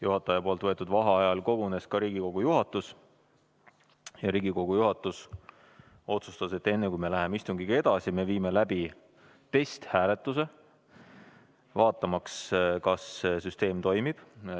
Juhataja võetud vaheajal kogunes ka Riigikogu juhatus ja Riigikogu juhatus otsustas, et enne, kui me läheme istungiga edasi, me viime läbi testhääletuse, vaatamaks, kas süsteem toimib.